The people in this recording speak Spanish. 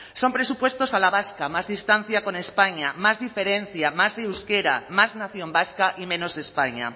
son presupuestos a la vasca más distancia con españa más diferencia más euskera más nación vasca y menos españa